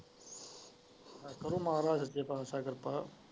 ਉਹਦੇ ਮਾਣ ਸੱਚੇ ਪਾਤਸ਼ਾਹ ਕਿਰਪਾ।